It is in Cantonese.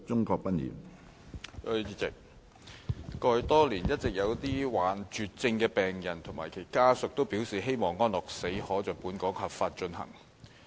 過去多年，一直有一些罹患絕症的病人及其家屬表示希望安樂死可在本港合法進行。